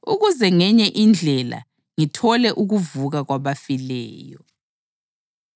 ukuze ngenye indlela, ngithole ukuvuka kwabafileyo.